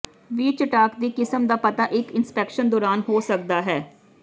ਵੀ ਚਟਾਕ ਦੀ ਕਿਸਮ ਦਾ ਪਤਾ ਇੱਕ ਇੰਸਪੈਕਸ਼ਨ ਦੌਰਾਨ ਹੋ ਸਕਦਾ ਹੈ